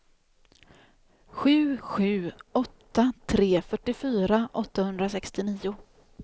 sju sju åtta tre fyrtiofyra åttahundrasextionio